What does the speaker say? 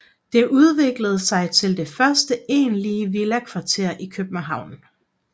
Det udviklede sig til det første egentlige villakvarter i København